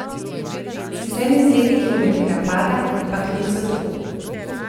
Sicer mi z leti kilometrina pada, ampak nič zato.